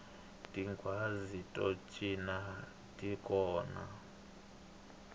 tinghwazi to cina ti kona